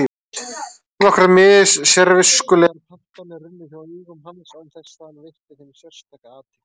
Nokkrar mis-sérviskulegar pantanir runnu hjá augum hans án þess að hann veitti þeim sérstaka athygli.